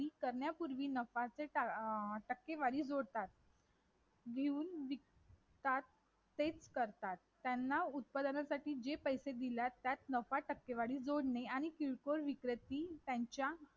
माझे मत अशी आहे की समान नागरी कायदा हा भारतात लागू केला पाहिजे कारण अनेक आपलं आपल्या देशात अनेक अनेक-अनेक धर्म जाती यांच्यावर अनेक नियम वेगवेगळे आहेत ,तर तुझे काय मत आहे.